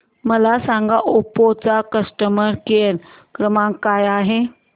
मला सांगा ओप्पो चा कस्टमर केअर क्रमांक काय आहे